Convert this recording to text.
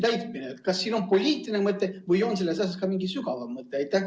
Kas siin on poliitiline või on sellel ka mingi sügavam mõte?